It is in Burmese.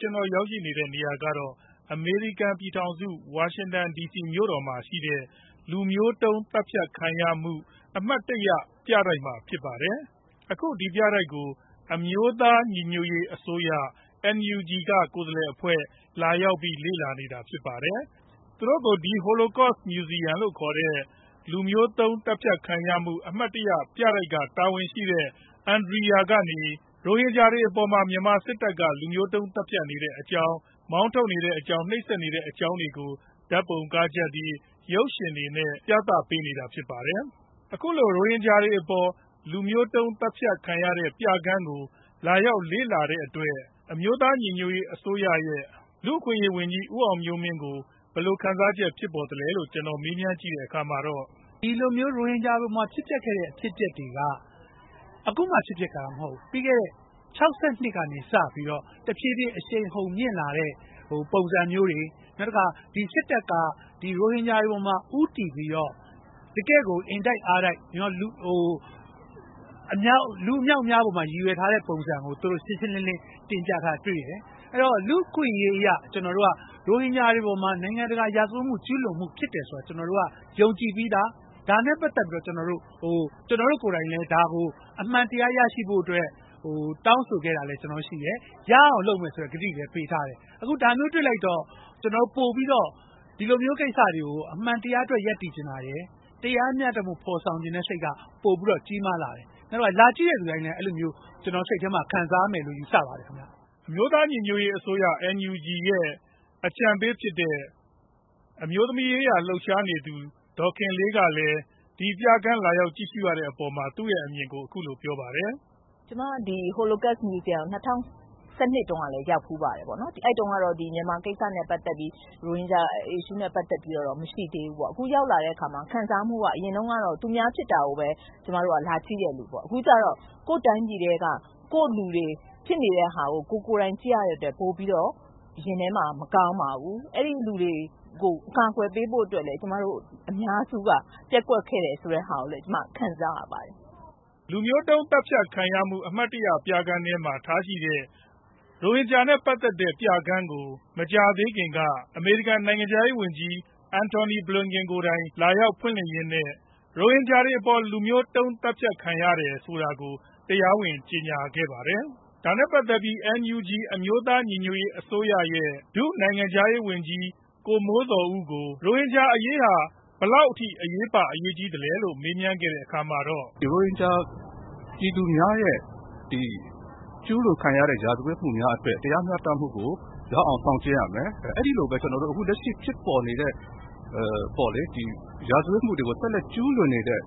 ကျနော်ရောက်ရှိနေတဲ့နေရာက အမေရိကန် ပြည်ထောင်စု ဝါရှင်တန်ဒီစီမြို့တော် လူမျိုးတုံးသတ်ဖြတ်ခံရမှု အမှတ်တရ Holocaust ပြတိုက်ရှေ့မှာဖြစ်ပါတယ်။ အခု ဒီပြတိုက်ကို အမျိုးသား ညီညွတ်ရေးအစိုးရ NUG က ကိုယ်စားလှယ်အဖွဲ့လာရောက်ပြီး လေ့လာနေတာဖြစ်ပါတယ်။ သူတို့ကို ဒီ Holocaust Museum လို့ခေါ်တဲ့ လူမျိုးတုံး သတ်ဖြတ်ခံရမှု အမှတ်တရ ပြတိုက်က တာဝန်ရှိတဲ့ Andria ကနေ ရိုဟင်ဂျာတွေအပေါ် မြန်မာစစ်တပ်က လူမျိုးတုန်း သတ်ဖြတ်နေတဲ့အကြောင်း၊ မောင်းထုတ်နေတဲ့အကြောင်း၊ နိုပ်စက်နေတဲ့အကြောင်းတွေကို ဓါတ်ပုံကားချပ်တွေ၊ ရုပ်ရှင်တွေနဲ့ ပြသပေးနေပါတယ်။ အခုလို ရိုဟင်ဂျာတွေအပေါ် လူမျိုးတုန်းသတ်ဖြတ်ခံရတဲ့ပြခန်းကို လာရောက်လေ့လာတဲ့အတွက် အမျိုးသား ညီညွတ်ရေးအစိုးရ ရဲ့ လူ့အခွင့်အရေးဝန်ကြီး ဦးအောင်မျိုးမင်း ကို ဘယ်လိုခံစားချက်ဖြစ်ပေါ်သလဲလို့ ကျနော်မေးမြန်းကြည့်တဲ့အခါမှာတော့ ဒီလိုမျိုး ရိုဟင်ဂျာတွေကို ဖြစ်ပျက်ခဲ့တာတွေက အခုမှဖြစ်ပျက်ခဲ့တာမဟုတ်ဘူး။ ပြီးခဲ့တဲ့ ၁၉ ၆၂ ကနေစပြီးတော့ တဖြေးဖြေးအရှိန်မြင့်လာတဲ့ ပုံစံမျိုးတွေ ဒီစစ်တပ်က ရိုဟင်ဂျာတွေပေါ်မှာ တကယ်ကို လူအမြောက်အများအပေါ် ကျူးလွန်ထားတာကို သူတို့တင်ပြထားတာတွေ့တယ်။ လူ့အခွင့်အရေးအရ ရိုဟင်ဂျာတွေအပေါ်မှာ ရာဇဝတ်မှုဖြစ်တယ်ဆိုတာကို ကျနော်တို့က ယုံကြည်ပြီးသား။ ကျနော်တို့ကိုယ်တိုင်ကလည်း အမှန်တရားရဖို့ တောင်းဆိုခဲ့တာလည်းရှိတယ်။ လုပ်လည်းလုပ်မယ်ဆိုတဲ့ ကတိတွေလည်းပေးထားတယ်။ ဒီလိုမျိုးကိစ္စတွေကို အမှန်တရားအတွက် ရပ်တည်ချင်ပါတယ်။ တရားမျှတမှုဖော်ဆောင်ချင်တဲ့ စိတ်က ပိုပြီးတော့ ကြီးမားလာတယ်။ လာပြီး ကြည့်သူတိုင်းလည်း စိတ်ထဲမှာ အဲလိုဖြစ်မယ်လို့ ယူဆပါတယ်။ အမျိုးသားညီညွတ်ရေးအစိုးရ NUG ရဲ့ အကြံပေးဖြစ်တဲ့ အမျိုးသမီးရေးရာ လှုပ်ရှားနေသူ ဒေါ်ခင်လေး ကလည်း ပြခန်းလာရောက်ကြည့်ရှုရတဲ့အပေါ်မှာ သူအမြင် ကို အခုလိုပြောပါတယ်။ ကျမဒီ Holocaust Museum ကို ၂ဝ၁၂ တုံးကလည်း ရောက်ဖူးပါတယ်။ အဲဒီတုံးကတော့မြန်မာကိစ္စ နဲ့ ပတ်သက်ပြီး ရိုဟင်ဂျာကိစ္စနဲ့ ပတ်သက်ပြီး မရှိသေးဘူးပေါ့။ အရင်ကတော့ သူများဖြစ်တာကိုပဲ လာကြည့်တာပေါ့။ အခုကြတော့ ကိုယ်တိုင်းပြည်ထဲက ကိုယ့်လူတွေ ဖြစ်ပျက်နေတဲ့ဟာကို ကိုယ်ကိုတိုင်ကြည့်ရတော့ ရင်ထဲမှာ မကောင်းဘူး။ အဲဒီလိုတွေကို အကာကွယ်ပေးဖို့ကိုလည်း ကျမတို့ အများစုက ပျက်ကွက်ခဲ့တာကိုလည်း ကျခံစားရပါတယ်။ လူမျိုးတုံးသတ်ဖြတ်မှု အမှတ်တရ ပြခန်းထဲမှာ ထားရှိတဲ့ ရိုဟင်ဂျာနဲ့ ပတ်သက်တဲ့ ပြခန်းကို မကြာသေးခင်က အမေရိကန် နိုင်ငံခြားရေးဝန်ကြီး Antony Blinken ကိုယ်တိုင်လာရောက်ဖွင့်လျှစ်ရင်းနဲ့ ရိုဟင်ဂျာတွေအပေါ် လူမျိုးတုံး သတ်ဖြတ်ခံရတယ်ဆိုတာကို တရားဝင်ကြေညာခဲ့ပါတယ်။ ဒါနဲ့ပတ်သက်ပြီး NUG အမျိုးသားညီညွတ်ရေးအစိုးရ ရဲ့. ဒုနိုင်ငံခြားရေးဝန်ကြီး ဦးမိုးဇော်ဦး ကို ရိုဟင်ဂျာအရေးဟာ ဘယ်လောက်အထိအရေးပါ အရေးကြီးသလဲလို့ မေးခဲ့ရာမှာ ရိုဟင်ဂျာပြည်သူများရဲ့ ဒီကျူးလွန်ခံရတဲ့ ရာဇဝတ်မှုများကို တရားမျှတမှုကိုရအောင် လုပ်ရမယ်။ အဲဒီလိုမျိုး အခုလက်ရှိဖြစ်ပေါ်နေတဲ့ ရာဇဝတ်မှုတွေကို ဆက်လက်ကျူးလွန်နေတဲ့